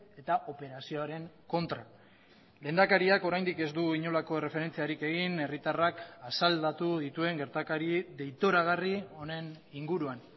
eta operazioaren kontra lehendakariak oraindik ez du inolako erreferentziarik egin herritarrak asaldatu dituen gertakari deitoragarri honen inguruan